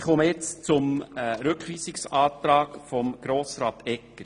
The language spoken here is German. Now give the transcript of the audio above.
Ich äussere mich nun zum Rückweisungsantrag von Grossrat Etter.